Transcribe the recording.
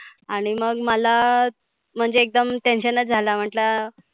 आणि मग मला म्हणजे एकदम tension च आल म्हटलं